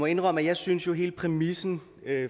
indrømme at jeg synes at hele præmissen